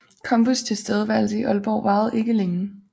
Combus tilstedeværelse i Aalborg varede ikke længe